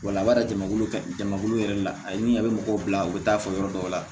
Walawara jamakulu jamakulu yɛrɛ la a ye min ye a bɛ mɔgɔw bila u bɛ taa fɔ yɔrɔ dɔw la